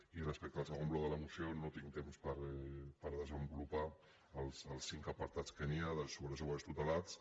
i respecte al segon bloc de la moció no tinc temps per desenvolupar els cinc apartats que hi ha sobre els joves tutelats